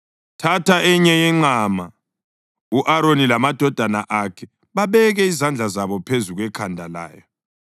Thatha enye yenqama, u-Aroni lamadodana akhe babeke izandla zabo phezu kwekhanda layo,